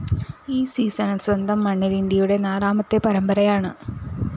ഈ സീസണില്‍ സ്വന്തം മണ്ണില്‍ ഇന്ത്യയുടെ നാലാമത്തെ പരമ്പരായാണ്